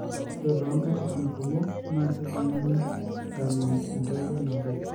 ore too nkatitin kumok naa kejunguni eimu entoiwoi nabo.